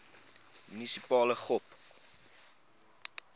munisipale gop